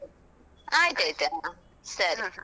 ಅಹ್ ಸರಿ ಸರಿ.